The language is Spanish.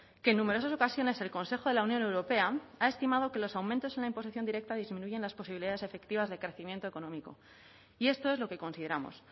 que en numerosas ocasiones el consejo de la unión europea ha estimado que los aumentos en la imposición directa disminuyen las posibilidades efectivas de crecimiento económico y esto es lo que consideramos